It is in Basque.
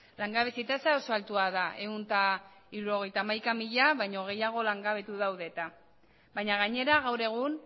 langabezi tasa oso altua da ehun eta hirurogeita hamaika mila baino gehiago langabetu daude eta baina gainera gaur egun